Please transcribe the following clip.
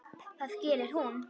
Það gerir hún.